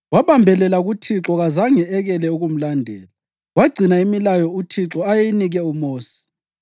Wabambelela kuThixo kazange ekele ukumlandela, wagcina imilayo uThixo ayeyinike uMosi.